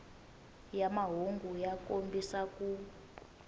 ya mahungu ya kombisa ku